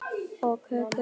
Og kökur.